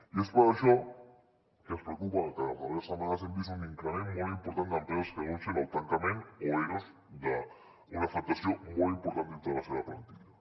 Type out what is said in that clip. i és per això que ens preocupa que en les darrers setmanes hem vist un increment molt important d’empreses que denuncien el tancament o eros d’una afectació molt important dintre de la seva plantilla